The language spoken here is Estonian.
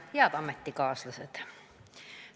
Head ametikaaslased!